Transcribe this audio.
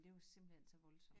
Det var simpelthen så voldsomt